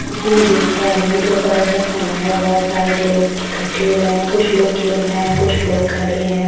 जैसे कि मैं देख पा रही हूं दोपहर का समय है बहुत सारे लोग इकट्ठे हुए हैं कुछ लोग खेल रहे हैं कुछ लोग खड़े हैं।